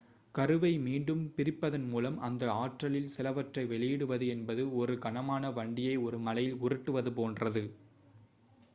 கருவை மீண்டும் பிரிப்பதன் மூலம் அந்த ஆற்றலில் சிலவற்றை வெளியிடுவது என்பது ஒரு கனமான வண்டியை ஒரு மலையில் உருட்டுவது போன்றது